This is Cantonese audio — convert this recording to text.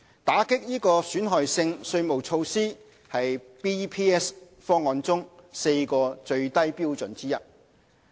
打擊損害性稅務措施是 BEPS 方案中4個最低標準之一。